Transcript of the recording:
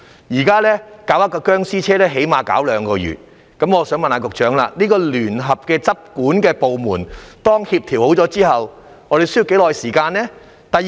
現時處理一輛"殭屍車"至少花2個月時間，我想問局長，當聯合執管部門協調好後，需要多長時間處理呢？